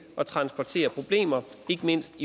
at transportere problemer ikke mindst